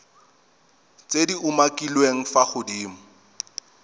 tse di umakiliweng fa godimo